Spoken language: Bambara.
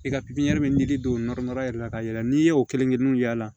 I ka bɛ n'i don nɔrɔ yɛrɛ la ka yɛlɛ n'i y'o kelen kelen y'a la